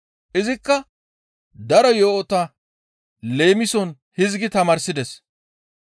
Izikka daro yo7ota leemison hizgi tamaarsides.